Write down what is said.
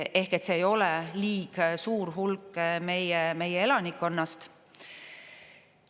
Ehk et see ei ole liig suur hulk meie elanikkonnast.